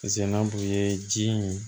ji in